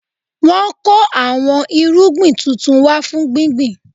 Wọn kò àwọn irúgbìn tuntun wá fún gbíngbin